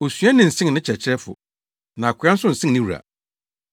“Osuani nsen ne kyerɛkyerɛfo, na akoa nso nsen ne wura.